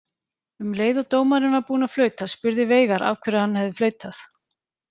Um leið og dómarinn var búinn að flauta spurði Veigar af hverju hann hefði flautað.